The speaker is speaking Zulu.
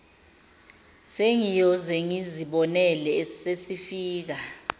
sengiyoze ngizibonele sesifika